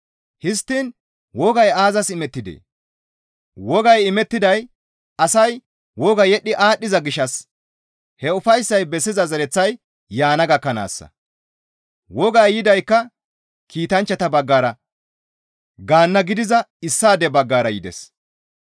Histtiin wogay aazas imettidee? Wogay imettiday asay woga yedhdhi aadhdhiza gishshas he ufayssay bessiza zereththay yaana gakkanaassa; wogay yidaykka kiitanchchata baggara gaanna gidiza issaade baggara yides.